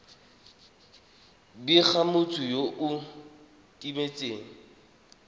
bega motho yo o timetseng